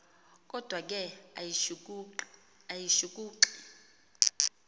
kodwa ke ayishukuxi